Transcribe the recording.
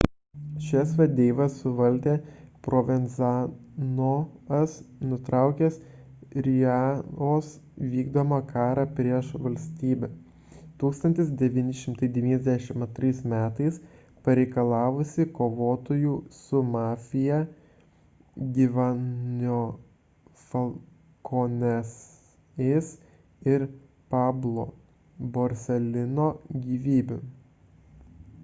šias vadeivas suvaldė provenzano'as nutraukęs riina'os vykdomą karą prieš valstybę 1992 m pareikalavusį kovotojų su mafija giovannio falcone'ės ir paolo borsellino gyvybių